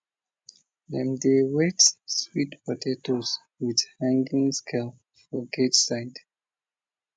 dem dey weigh sweet potatoes with hanging scale for gate side